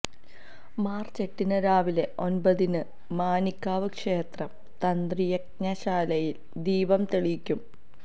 March എട്ടിന് രാവിലെ ഒന്പതിന് മാനികാവ് ക്ഷേത്രം തന്ത്രി യജ്ഞശാലയില് ദീപം തെളിയിക്കും